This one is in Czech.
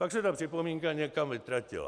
Pak se ta připomínka někam vytratila.